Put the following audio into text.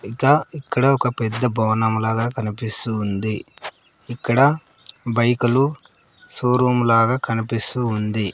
ఇక ఇక్కడ ఒక పెద్ద భవనం లాగా కనిపిస్తూ వుంది ఇక్కడ బైకులు షోరూమ్ లాగా కనిపిస్తూ వుంది.